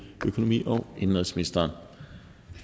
økonomi og indenrigsministeren